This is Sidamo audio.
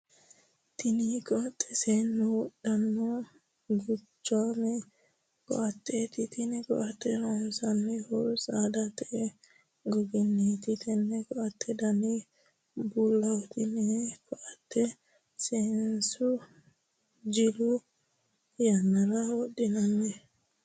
Tinni koate seennu wodhano guchaame koateeti. Tenne koate loonsoonnihu saadate goginniiti. Tenne koate danni bulaho. Tenne koate seennu jilu yannara wodhano.